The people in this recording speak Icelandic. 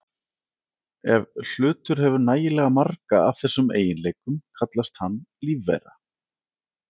Ef hlutur hefur nægilega marga af þessum eiginleikum kallast hann lífvera.